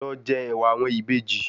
Lọ jẹ ẹ̀wà àwọn Ìbejì